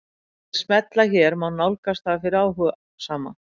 Með því að smella hér má nálgast það fyrir áhugasama.